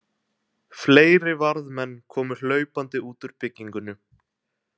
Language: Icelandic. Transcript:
Fleiri varðmenn komu hlaupandi út úr byggingunni.